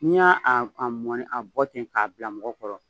N'i y'a a mɔni a bɔ ten k'a bila mɔgɔ kɔrɔ